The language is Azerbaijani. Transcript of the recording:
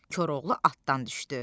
Koroğlu atdan düşdü.